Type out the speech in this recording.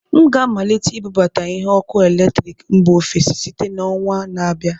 M ga-amalite ibubata ihe ọkụ eletrik mba ofesi site na ọnwa na-abịa